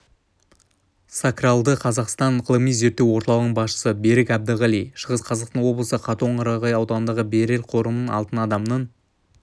сакралды қазақстан ғылыми-зерттеу орталығының басшысы берік әбдіғали шығыс қазақстан облысы катонқарағай ауданындағы берел қорымынан алтын адамның